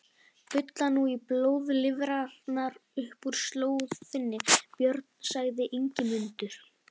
Bulla nú blóðlifrarnar upp úr slóð þinni, Björn, sagði Ingimundur.